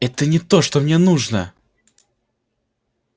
это не то что мне нужно